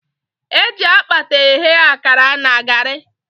Eji akpata eghe akara na garị.